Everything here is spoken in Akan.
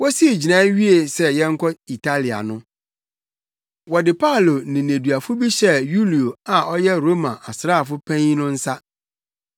Wosii gyinae wiee sɛ yɛnkɔ Italia no, wɔde Paulo ne nneduafo bi hyɛɛ Yulio a ɔyɛ Roma asraafo panyin no nsa.